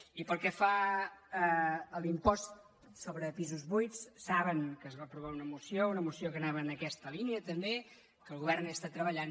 i pel que fa a l’impost sobre pisos buits saben que es va aprovar una moció una moció que anava en aques·ta línia també que el govern hi està treballant